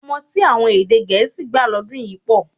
Ọmọ tí àwọn èdè gẹ̀ẹ́sì gbà lọ́dún yìí pọ̀